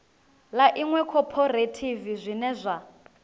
ḽa iṅwe khophorethivi zwine zwa